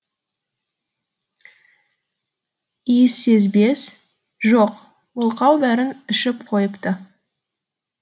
иіссезбес жоқ мылқау бәрін ішіп қойыпты